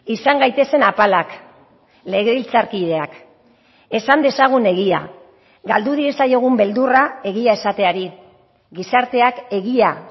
izan gaitezen apalak legebiltzarkideak esan dezagun egia galdu diezaiogun beldurra egia esateari gizarteak egia